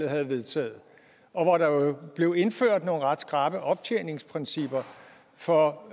havde vedtaget og hvor der jo blev indført nogle ret skrappe optjeningsprincipper for